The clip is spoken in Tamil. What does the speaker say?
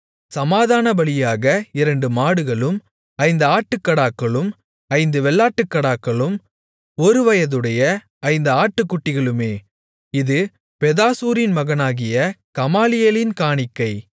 சமாதானபலியாக இரண்டு மாடுகளும் ஐந்து ஆட்டுக்கடாக்களும் ஐந்து வெள்ளாட்டுக்கடாக்களும் ஒருவயதுடைய ஐந்து ஆட்டுக்குட்டிகளுமே இது பெதாசூரின் மகனாகிய கமாலியேலின் காணிக்கை